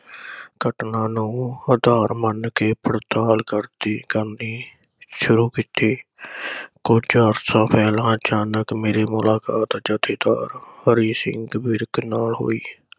ਘਟਨਾ ਨੂੰ ਆਧਾਰ ਮੰਨ ਕੇ ਪੜਤਾਲ ਕਰਤੀ ਕਰਨੀ ਸ਼ੁਰੂ ਕੀਤੀ। ਕੁਝ ਅਰਸਾ ਪਹਿਲਾਂ ਅਚਾਨਕ ਮੇਰੀ ਮੁਲਾਕਾਤ ਜਥੇਦਾਰ ਹਰੀ ਸਿੰਘ ਵਿਰਕ ਨਾਲ ਹੋਈ।